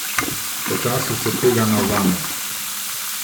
Počasi se tega navzameš.